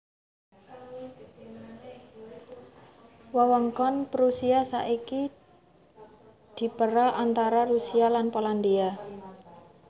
Wewengkon Prusia saiki dipérang antara Rusia lan Polandia